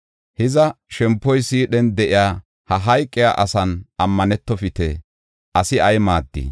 Hiza shempoy siidhen de7iya, ha hayqiya asan ammanetofite. Asi ay maaddii?